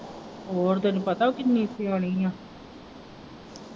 ਹੋਰ ਤੈਨੂੰ ਪਤਾ ਉਹ ਕਿੰਨੀ ਸਿਆਣੀ ਹੈ।